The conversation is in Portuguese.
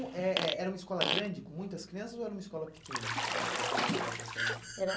Eh eh era uma escola grande, com muitas crianças, ou era uma escola pequena, essa da primeira à quarta série? Era